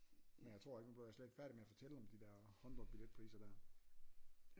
Men jeg tror ikke nu blev jeg slet ikke færdig med at fortælle om de der håndbold billetpriser der